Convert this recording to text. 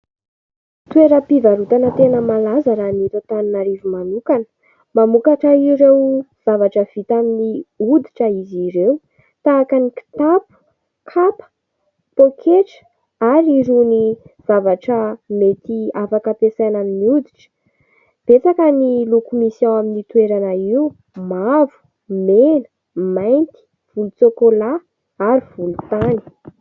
Toeram-pivarotana tena malaza raha ny eto Antananarivo manokana. Mamokatra ireo zavatra vita amin'ny hoditra izy ireny, tahaka ny kitapo, kapa, pôketra ary ireny zavatra mety afaka ampiasaina amin'ny hoditra. Betsaka ny loko misy eo amin'io toerana io : mavo, mena, mainty, volontsokolà ary volontany.